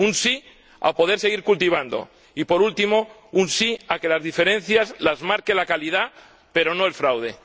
un sí a poder seguir cultivando y, por último, un sí a que las diferencias las marque la calidad pero no el fraude.